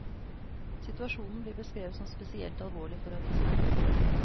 Situasjonen blir beskrevet som spesielt alvorlig for avisene.